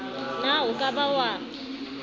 na o ka ba wa